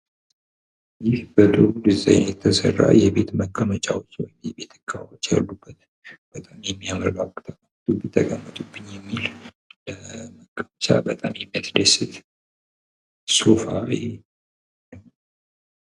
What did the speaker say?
ይህ በጥሩ ደዛይን የተሰራ የቤት መቀመጫ ወንበር ነው። በጣም የሚያምር ተቀመጡብኝ ተቀመጡብኝ የሚል ለመቀመጫ በጣም የሚያስደስት ሶፋ ነው።